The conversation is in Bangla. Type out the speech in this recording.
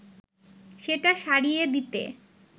সেটা সারিয়ে দিতে